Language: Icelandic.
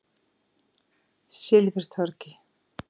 Silfurtorgi